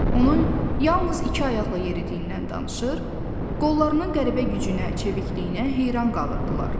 Onu yalnız iki ayaqla yeridiyindən danışır, qollarının qəribə gücünə, çevikliyinə heyran qalırdılar.